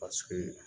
Paseke